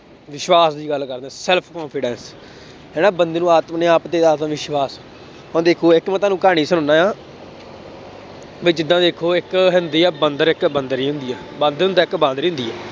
ਵਿਸ਼ਵਾਸ ਦੀ ਗੱਲ ਕਰਦੇ ਹਾਂ self confidence ਜਿਹੜਾ ਬੰਦੇ ਨੂੰ ਆਪਣੇ ਆਪ ਤੇ ਆਤਮ ਵਿਸ਼ਵਾਸ, ਹੁਣ ਦੇਖੋ ਇੱਕ ਮੈਂ ਤੁਹਾਨੂੰ ਕਹਾਣੀ ਸੁਣਾਉਂਦਾ ਹਾਂ ਵੀ ਜਿੱਦਾਂ ਦੇਖੋ ਇੱਕ ਹੁੰਦੀ ਆ ਬੰਦਰ ਇੱਕ ਬੰਦਰੀ ਹੁੰਦੀ ਆ, ਬਾਂਦਰ ਹੁੰਦਾ ਇੱਕ ਬਾਂਦਰੀ ਹੁੰਦੀ ਆ।